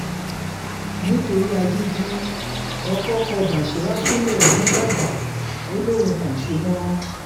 nítorí agídí ọkọ̀ kọ básírà sílẹ̀ nìbàdàn ò lóun kò ṣe mọ́